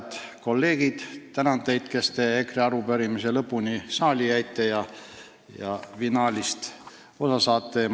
Head kolleegid, tänan teid, kes te EKRE arupärimise lõpuni saali jäite ja finaalist osa saate!